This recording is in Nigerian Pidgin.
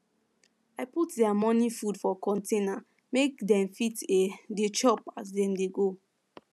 i put their morning food for container make dem fit um dey chop as dem dey go